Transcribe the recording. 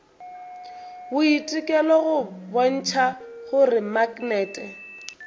boitekelo go bontšha gore maknete